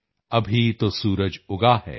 ਅਭੀ ਤੋ ਸੂਰਜ ਉਗਾ ਹੈ